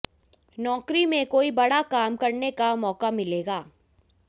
नौकरी में कोई बड़ा काम करने का मौका मिलेगा